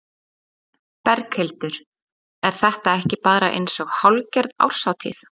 Berghildur: Er þetta ekki bara eins og hálfgerð árshátíð?